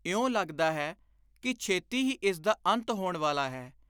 ਇਉਂ ਲੱਗਦਾ ਹੈ ਕਿ ਛੇਤੀ ਹੀ ਇਸਦਾ ਅੰਤ ਹੋਣ ਵਾਲਾ ਹੈ।